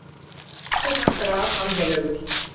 Fúsi var grafalvarlegur.